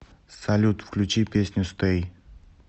салют включи песню стэй